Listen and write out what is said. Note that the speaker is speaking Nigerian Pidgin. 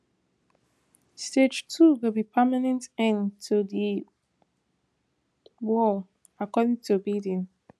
stage two go be permanent end to di war according to biden